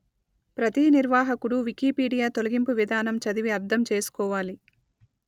ప్రతీ నిర్వాహకుడు వికీపీడియా తొలగింపు విధానం చదివి అర్థం చేసుకోవాలి